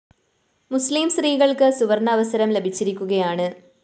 മുസ്ലിം സ്ത്രീകള്‍ക്ക് സുവര്‍ണാവസരം ലഭിച്ചിരിക്കുകയാണ്